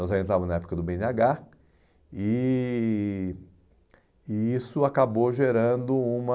Nós ainda estávamos na época do bê ene agá e e isso acabou gerando uma